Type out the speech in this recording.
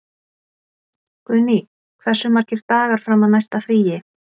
Guðný, hversu margir dagar fram að næsta fríi?